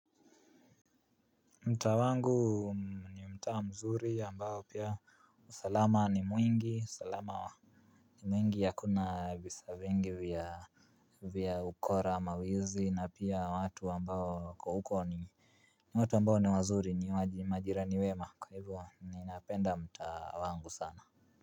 Mtaa wangu ni mtaa mzuri ambao pia usalama ni mwingi usalama wa ni mwingi ya kuna visa vingi vya ukora mawizi na pia watu ambao kwa huko ni watu ambao ni wazuri ni majirani wema kwa hivyo ninapenda mtaa wangu sana.